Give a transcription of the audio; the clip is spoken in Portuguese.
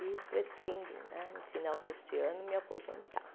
E pretendo né, no final deste ano, me aposentar.